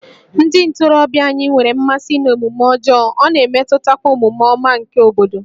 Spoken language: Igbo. Ndị ntorobịa anyị nwere mmasị n'omume ọjọọ, ọ na-emetụtakwa omume ọma nke obodo